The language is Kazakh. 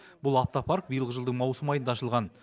бұл автопарк биылғы жылдың маусым айында ашылған